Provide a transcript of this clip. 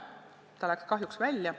Ta eksis.